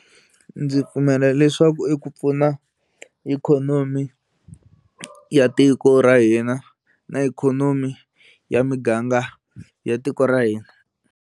Ndzi pfumela leswaku i ku pfuna ikhonomi ya tiko ra hina na ikhonomi ya miganga ya tiko ra hina.